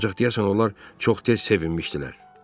Ancaq deyəsən onlar çox tez sevinmişdilər.